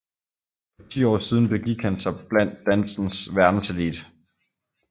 For ti år siden begik han sig blandt dansens verdenselite